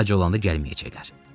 Ac olanda gəlməyəcəklər.